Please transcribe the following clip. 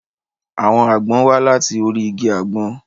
Àwọn àgbọn wá láti orí igi àgbọn.